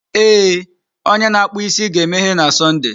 Ee, onye na-akpụ isi ga-emeghe na Sọnde.